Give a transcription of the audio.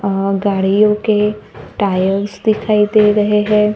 अ गाड़ियों के टायर्स दिखाई दे रहे है।